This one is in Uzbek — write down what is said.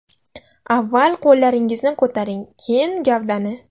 Avval qo‘llaringizni ko‘taring, keyin gavdani.